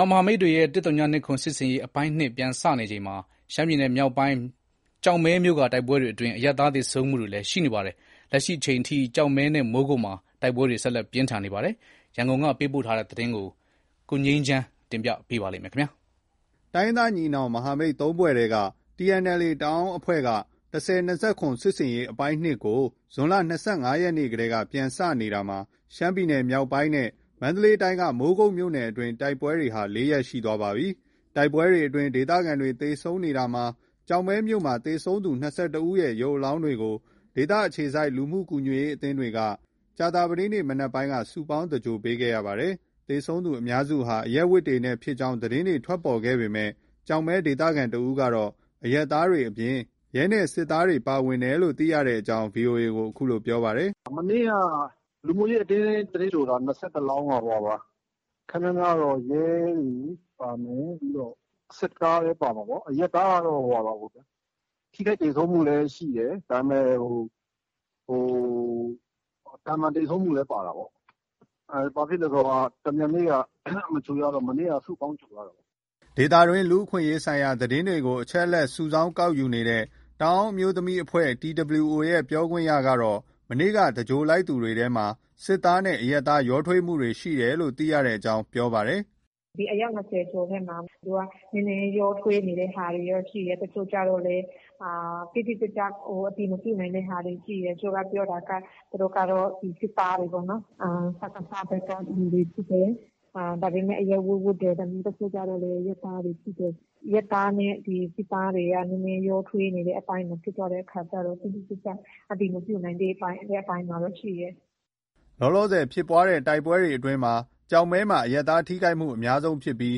ောင်မဟာမိတ်တွေရဲ့ ၁၀၂၇ စစ်ဆင်ရေး အပိုင်း ၂ ပြန်စနေချိန်မှာ ရှမ်းပြည်နယ်မြောက်ပိုင်း ကျောက်မဲမြို့က တိုက်ပွဲတွေအတွင်း အရပ်သား သေဆုံးမှုတွေလည်း ရှိနေပါတယ်။ လက်ရှိအချိန်အထိ ကျောက်မဲနဲ့ မိုးကုတ်မှာ တိုက်ပွဲတွေ ဆက်လက်ပြင်းထန်နေပါတယ်။ ရန်ကုန်က ပေးပို့တဲ့ ရှမ်းမြောက် တိုက်ပွဲသတင်း နောက်ဆုံးအခြေအနေကို တင်ပြထားပါတယ်။ တိုင်းရင်းသားညီနောင် မဟာမိတ် ၃ ဖွဲ့ထဲက TNLA တအာင်းအဖွဲ့က ၁၀၂၇ စစ်ဆင်ရေးအပိုင်း ၂ ကို ဇွန်လ ၂၅ ရက်နေ့ထဲက ပြန်စနေတာမှာ ရှမ်းပြည်နယ်မြောက်ပိုင်းနဲ့ မန္တလေးတိုင်းက မိုးကုတ်မြို့နယ်အတွင်း တိုက်ပွဲတွေဟာ ၄ ရက် ရှိသွားပြီဖြစ်ပါတယ်။ တိုက်ပွဲတွေအတွင်း ဒေသခံတွေသေဆုံးနေတာမှာ ကျောက်မဲမြို့မှာ သေဆုံးသူ ၂၁ ဦးရဲ့ ရုပ်အလောင်းတွေကို ဒေသအခြေစိုက် လူမှုကူညီရေးအသင်းတွေက ကြာသပတေးနေ့နံနက်ပိုင်းက စုပေါင်းသင်္ဂြိုလ်ပေးခဲ့ ရပါတယ်။ သေဆုံးသူအများစုဟာ အရပ်ဝတ်တွေနဲ့ဖြစ်ကြောင်း သတင်းတွေ ထွက်ပေါ်ခဲ့ပေမဲ့ ကျောက်မဲဒေသခံ တဦးကတော့ အရပ်သားတွေအပြင်၊ ရဲနဲ့ စစ်သားတွေ ပါဝင်တယ်လို့ သိရကြောင်း VOA ကို အခုလို ပြောပါတယ်။ “မနေ့က လူမှုရေးအသင်းက သင်္ဂြိုလ်တာ ၂၁ လောင်းက ခပ်များများကတော့ ရဲတွေ ပါမယ်။ ပြီးတော့ စစ်သားလည်း ပါမှာပေါ့။ အရပ်သားကတော့ ထိခိုက်သေဆုံးမှုလည်း ရှိတယ်။ ဒါပေမဲ့ ဟို သာမန်သေဆုံးမှုလည်း ပါတာပေါ့။ ဘာဖြစ်လဲဆိုတော့ တမြန်မနေ့က မသင်္ဂြိုလ်လိုက်ရတော့ မနေ့ကမှ စုပေါင်း သင်္ဂြိုလ်ရတာပေါ့။" ဒေသတွင်းက လူအခွင့်အရေးဆိုင်ရာ သတင်းတွေကို အချက်အလက် ကောက်ယူစုဆောင်းနေတဲ့ တအန်းအမျိုးသမီးအဖွဲ့ TWO ရဲ့ ပြောခွင့်ရသူကတော့ မနေ့က သင်္ဂြိုလ်လိုက်သူတွေထဲမှာ အရပ်သားနဲ့ စစ်သား ရောထွေးမှုရှိတယ်လို့ သိရကြောင်း ပြောပါတယ်။ “ ဒီအယောက် ၂၀ကျော်ထဲမှာ နည်းနည်း ရောထွေးနေတဲ့ဟာတွေရှိတယ်။ တချို့ကျတော့လည်း တိတိကျကျ အတည်မပြုနိုင်တဲ့ဟာတွေ ရှိတယ်။ တချို့က ပြောတာက သူတို့ကတော့ စစ်သားတွေပေါ့နော်။ စကစ ဘက်က လူတွေဖြစ်တယ်။ ဒါပေမဲ့ အရပ်ဝတ် ဝတ်တယ်။ တချို့ကျတော့လည်း အရပ်သားတွေ ဖြစ်တယ်။ အရပ်သားနဲ့ စစ်သားတွေက နည်းနည်း ရောထွေးနေတဲ့ အပိုင်း ဖြစ်သွားတဲ့အခါကျတော့ တိတိကျကျ အတည်မပြုနိုင်သေးတဲ့ အပိုင်းမှာပဲ ရှိတယ်။ ” လောလောဆည်ဖြစ်ပွားတဲ့တိုက်ပွဲအတွင်းမှာ ကျောက်မဲမှာ အရပ်သားထိခိုက်မှုအများဆုံးဖြစ်ပြီး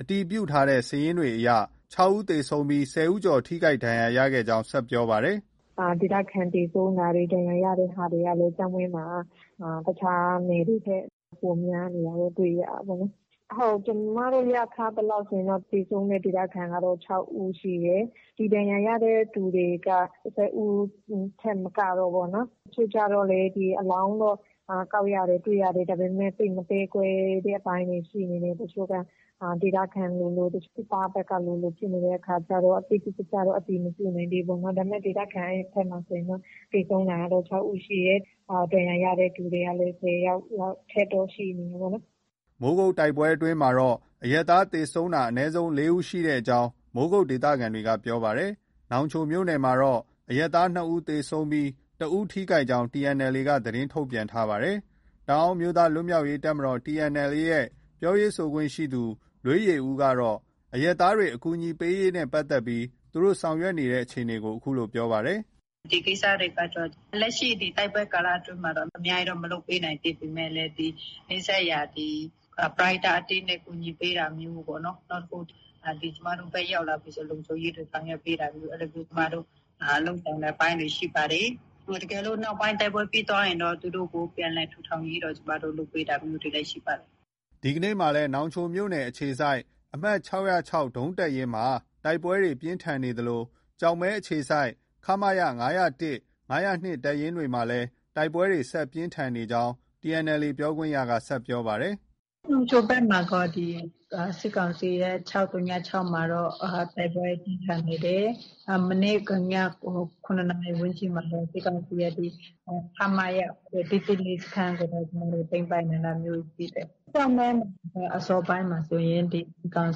အတည်ပြုထားတဲ့ စာရင်းအရ ၆ ဦး သေဆုံးပြီး ၁၀ ဦးကျော် ထိခိုက်ဒဏ်ရာရခဲ့ကြောင်း ဆက်ပြောပါတယ်။ “ဒေသခံ သေဆုံးတာတွေ ဒဏ်ရာရတဲ့ဟာတွေက ကျောက်မဲမှာ တခြားနယ်တွေထက် ပိုများနေတာတော့ တွေ့ ရတာပေါ့နော်။ ဟုတ် ကျမတို့ ရထားသလောက်ဆိုရင်တော့ သေဆုံးတဲ့ ဒေသခံကတော့ ၆ ဦးရှိတယ်။ ဒီဒဏ်ရာရတဲ့သူတွေက ၁၀ဦးထက် မကတော့ဘူးပေါ့။ တချို့ကျတော့လည်း ဒီအလောင်းတော့ ကောက်ရတယ်။ တွေ့ရတယ်။ ဒါပေမဲ့ သိပ်မသဲကွဲတဲ့ အပိုင်းတွေရှိနေတယ်။ တချို့က ဒေသခံလိုလို၊ စစ်သားဘက်ကလိုလို ဖြစ်နေတဲ့အခါကျတော့ တိတိကျကျတော့ အတည်မပြုနိုင်သေးဘူး။ ဒါပေမဲ့ ဒေသခံ ဘက်မှာဆိုရင်တော့ သေဆုံးတာတော့ ၆ ဦးရှိတယ်။ ဒဏ်ရာရတဲ့သူတွေကလည်း ၁၀ယောက် အထက်တော့ ရှိနေတယ်ပေါ့နော်။ ” မိုးကုတ်တိုက်ပွဲအတွင်းမှာတော့ အရပ်သားသေဆုံးတာ အနည်းဆုံး ၄ ဦးရှိကြောင်း မိုးကုတ်ဒေသခံတွေက ပြောပါတယ်။ နောင်ချိုမြို့မှာတော့ အရပ်သား ၂ ဦး သေဆုံးပြီး တဦး ထိခိုက်ကြောင်း TNLA က သတင်းထုတ်ပြန်ထားပါတယ်။ တအာင်းအမျိုးသားလွတ်မြောက်ရေးတပ်မတော် TNLA ရဲ့ ပြောရေးဆိုခွင့်ရှိသူ လွေးယေဦးကတော့ အရပ်သားတွေ အကူအညီပေးရေးနဲ့ပတ်သက်ပြီး သူတို့ ဆောင်ရွက်နေတဲ့အခြေအနေကို အခုလို ပြောပါတယ်။ “ ဒီကိစ္စတွေကတော့ လက်ရှိ တိုက်ပွဲကာလအတွင်းမှာတော့ အများကြီးတော့ မလုပ်ပေးနိုင်သေးပေမဲ့လည်း ဒီ နီးစပ်ရာ ပရဟိတအသင်းတွေ ကူညီပေးတာမျိုးပေါ့နော်။ နောက်တခု ဒီ ကျမတို့ဘက် ရောက်လာပြီဆို သူတို့ရဲ့ လုံခြုံရေးအတွက် ဆောင်ရွက်ပေးတာမျိုး အဲလိုမျိုး ကျမတို့ လုပ်ဆောင်တဲ့အပိုင်းတွေ ရှိပါတယ်။ တကယ်လို့ နောက်ပိုင်းတိုက်ပွဲပြီးသွားရင်တော့ သူတို့ကို ပြန်လည်ထူထောင်ရေးတော့ ကျမတို့ လုပ်ပေးတာလည်း ရှိပါတယ်။” ဒီကနေ့မှာလည်း နောင်ချိုမြို့နယ်အခြေစိုက် အမှတ် ၆၀၆ ဒုံးတပ်ရင်းမှာ တိုက်ပွဲပြင်းထန်နေသလို ကျောက်မဲအခြေစိုက် ခမရ ၅၀၁၊ ၅၀၂တပ်ရင်းမှာ တိုက်ပွဲ ဆက်လက်ပြင်းထန်နေကြောင်းလည်း TNLA ပြောခွင့်ရက ဆက်ပြောပါတယ်။ “ နောင်ချိုဘက်မှာတော့ စစ်ကောင်စီရဲ့ ၆၀၆မှာတော့တိုက်ပွဲပြင်းထန်နေတယ်။ မနေ့ည ၇နာရီ ဝန်းကျင်မှာတော့ စစ်ကောင်စီရဲ့ ခမရ ၁၁၄ စခန်းကိုတော့ ကျမတို့ သိမ်းပိုက်နိုင်တာမျိုးတွေ ရှိတယ်။ ကျောက်မဲမှာတော့ အစောပိုင်းမှာဆိုရင် ဒီ စစ်ကောင်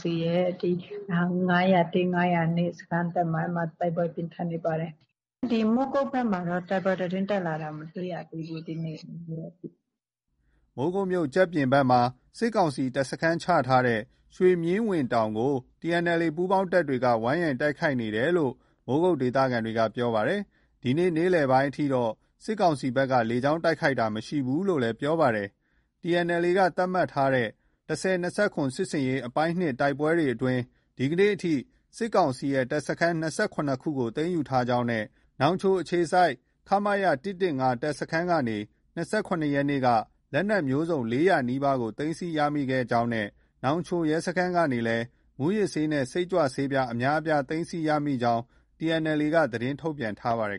စီရဲ့ ၅၀၁၊ ၅၀၂ စခန်းဘက်မှာ တိုက်ပွဲ ပြင်းထန်နေပါတယ်။ မိုးကုတ်ဘက်မှာတော့ တိုက်ပွဲသတင်းတက်လာတာ မတွေ့ရသေးဘူး ဒီနေ့။” မိုးကုတ်မြို့ ကျပ်ပြင်ဘက်မှာ စစ်ကောင်စီ တပ်စခန်းချထားတဲ့ ရွှေမြင်ဝင်းတောင်ကို TNLA ပူးပေါင်းတပ်တွေက ဝိုင်းရံတိုက်ခိုက်နေတယ်လို့ မိုးကုတ်ဒေသခံက ပြောပါတယ်။ ဒီနေ့နေ့လည်ပိုင်းအထိတော့ စစ်ကောင်စီဘက်က လေကြောင်းတိုက်ခိုက်တာ မရှိဘူးလို့လည်း ပြောပြပါတယ်။ TNLA က သတ်မှတ်ထားတဲ့ ၁၀၂၇ စစ်ဆင်ရေး အပိုင်း ၂ တိုက်ပွဲအတွင်း ဒီကနေ့အထိ စစ်ကောင်စီရဲ့ တပ်စခန်း ၂၇ ခုကို သိမ်းယူထားကြောင်းနဲ့ နောင်ချိုအခြေစိုက် ခမရ ၁၁၅ တပ်စခန်းကနေ ၂၇ ရက်နေ့က လက်နက်မျိုးစုံ ၄၀၀ နီးပါးသိမ်းဆည်းရခဲ့ကြောင်းနဲ့ နောင်ချိုရဲစခန်းကနေလည်း မူးယစ်ဆေးနဲ့ စိတ်ကြွဆေးပြား အများအပြား သိမ်းဆည်းရမိကြောင်း TNLA က သတင်းထုတ်ပြန်ထားပါတယ်